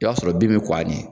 O b'a sɔrɔ bin bɛ kɔn a ɲɛ.